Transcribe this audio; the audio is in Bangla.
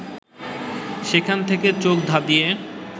সেখান থেকে চোখ ধাঁধিয়ে